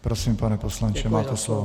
Prosím, pane poslanče, máte slovo.